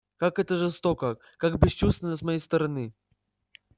как это жестоко как бесчувственно с моей стороны